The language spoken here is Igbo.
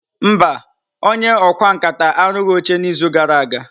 Mba, onye ọkwá nkà arụghị oche n'izu gara aga.